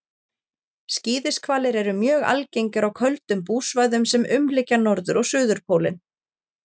skíðishvalir eru mjög algengir á köldum búsvæðum sem umlykja norður og suðurpólinn